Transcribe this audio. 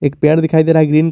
पेड़ दिखाई दे रहा है ग्रीन --